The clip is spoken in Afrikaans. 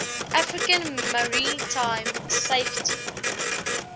african maritime safety